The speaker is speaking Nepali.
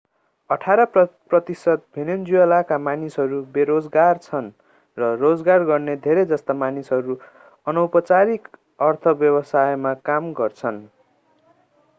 अठार प्रतिशत भेनेजुएलाका मानिसहरू बेरोजगार छन् र रोजगार गर्ने धेरै जस्ता मानिसहरू अनौपचारिक अर्थव्यवस्थामा काम गर्छन्